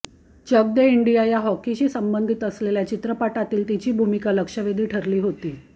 Chak De India या हॉकीशी संबधित असलेल्या चित्रपटातील तिची भूमिका लक्षवेधी ठरली होती